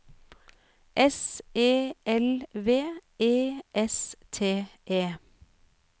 S E L V E S T E